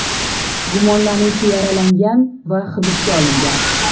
Gumonlanuvchi yaralangan va hibsga olingan.